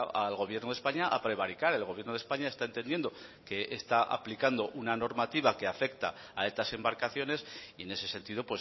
al gobierno de españa a prevaricar el gobierno de españa está entendiendo que está aplicando una normativa que afecta a estas embarcaciones y en ese sentido